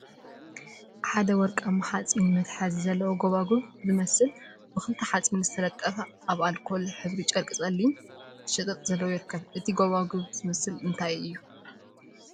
ሓደ ወርቃማ ሓፂን መትሓዚ ዘለዎን ጎባጉብ ዝመስል ብክልተ ሓፂን ዝተለጠፈ አብ አልኮል ሕብሪ ጨርቂ ፀሊም ሸጠጥ ዘለዎ ይርከቡ፡፡ እቲ ጎባጉብ ዝመስል እንታይ እዩ?